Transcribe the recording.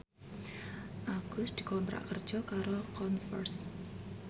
Agus dikontrak kerja karo Converse